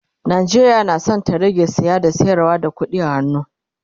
Najeriya na San ta rage saye da sayarwa da ƙuɗi a hannu